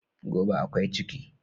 Gobe ​​akwai ciki